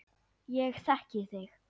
Ég þekki þig.